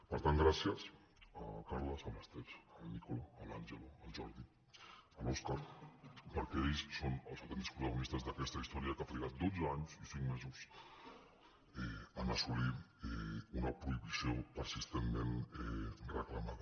per tant gràcies al carles a l’ester al nicola a l’angelo al jordi a l’óscar perquè ells són els autèntics protagonistes d’aquesta història que ha trigat dotze anys i cinc mesos a assolir una prohibició persistentment reclamada